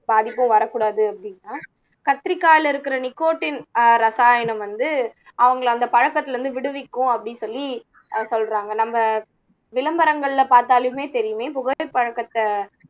பாதிப்பும் வரக் கூடாது அப்படினா கத்திரிக்காயில இருக்கிற நிக்கோட்டின் அஹ் ரசாயனம் வந்து அவங்களை அந்த பழக்கத்துல இருந்து விடுவிக்கும் அப்படின்னு சொல்லி அஹ் சொல்றாங்க நம்ம விளம்பரங்கள்ல பார்த்தாலுமே தெரியுமே புகை பழக்கத்தை